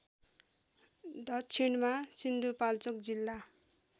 दक्षिणमा सिन्धुपाल्चोक जिल्ला